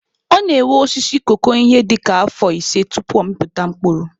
Ọ na-ewe osisi koko ihe dịka afọ ise tupu ọ mịpụta mkpụrụ.